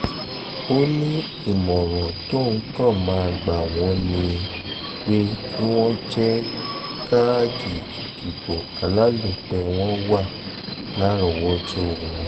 ó ní ìmọ̀ràn tóun kàn máa gbà wọ́n ni um pé kí wọ́n jẹ́ káàdì ìdìbò alálòpẹ́ um wọn wà lárọ̀ọ́wọ́tó wọn